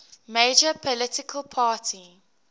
major political party